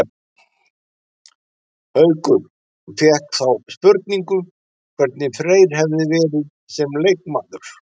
Haukur fékk þá spurningu hvernig Freyr hefði verið sem leikmaður?